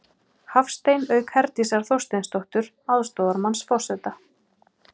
Hafstein, auk Herdísar Þorsteinsdóttur, aðstoðarmanns forseta.